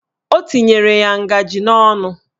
O tinyere ya ngajị n'ọnụ